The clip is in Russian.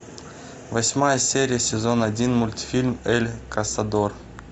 восьмая серия сезон один мультфильм эль касадор